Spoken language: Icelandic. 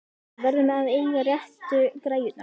Við verðum að eiga réttu græjurnar!